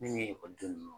Min ni ekɔlidenw